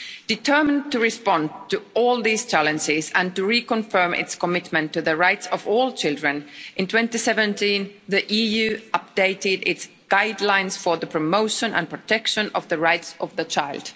Determined to respond to all these challenges and to reconfirm its commitment to the rights of all children, in 2017 the EU updated its guidelines for the promotion and protection of the rights of the child.